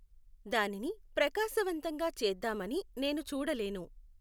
దానిని ప్రకాశవంతంగా చేద్దాం అని నేను చూడలేను